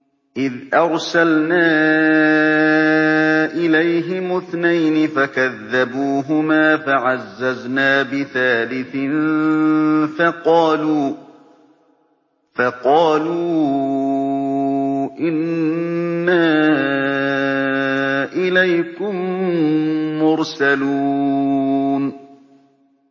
إِذْ أَرْسَلْنَا إِلَيْهِمُ اثْنَيْنِ فَكَذَّبُوهُمَا فَعَزَّزْنَا بِثَالِثٍ فَقَالُوا إِنَّا إِلَيْكُم مُّرْسَلُونَ